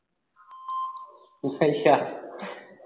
ਅੱਛਾ